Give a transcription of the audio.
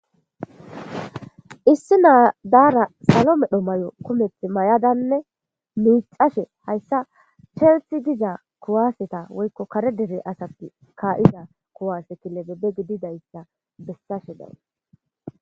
Issi naadaara salo medho may7o kumeth may7adanne miicashe hayssa chersi diza kuwaaseta woykko kare dere asatti kaa7ida kuwase kilebebbe gididayssa bessashe dawu.